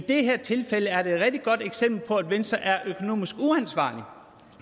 det her tilfælde er et rigtig godt eksempel på at venstre er økonomisk uansvarlige